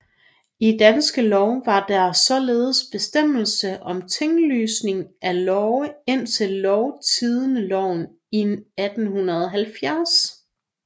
I Danske Lov var der således bestemmelse om tinglysning af love indtil Lovtidendeloven i 1870